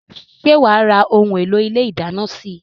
Ṣé wá ra òun èlò ilé ìdáná síí?